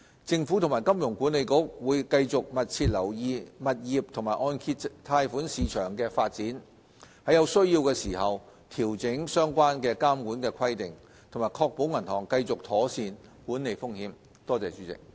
政府和金管局會繼續密切留意物業和按揭貸款市場的發展，在有需要時調整相關監管規定，確保銀行繼續妥善管理風險。